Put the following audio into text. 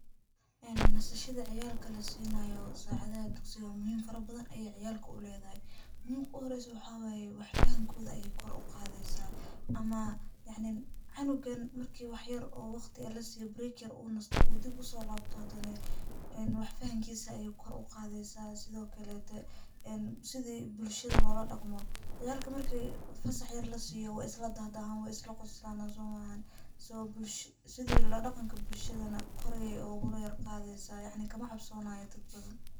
Een nasashada ciyalka lasinayo sacadaxa dugsiga muxiim farabadan aya ciyalka uledaxay, muxiimka uxoreysa waxa waye, wax fahamkoda ayay kor uqadeysa, amaa yacnin canugan marki wax yar oo wagti lasiyo break yar u nasto, u diib usolabto hadana, een wax fahamkisa ayay kor ugadeysa, sidhokalete een sidhii bulshada loladagmo, ciyalka marki fasah yar lasiyo way isladadaxan, way islagoslan somaahan so sidhi ladaganka bulshada nah kor aya usoyargadeysa, yaacni kamacabsonayo dad.